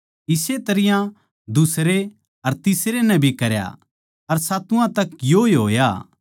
इस्से तरियां दुसरे अर तीसरे नै भी करया अर सातुवां तक योए होया